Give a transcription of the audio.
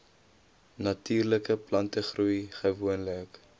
natuurlike plantegroei gewoonlik